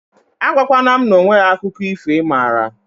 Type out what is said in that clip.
A gwa kwana m na onweghi akụkọ ifo ị mara